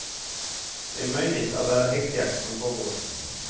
Det är möjligt att det är häxjakt som pågår.